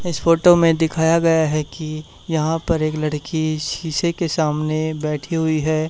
इस फोटो में दिखाया गया हैं कि यहां पर एक लड़की शीशे के सामने बैठी हुई है।